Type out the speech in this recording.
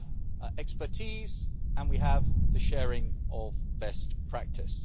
We have expertise and we have the sharing of best practice.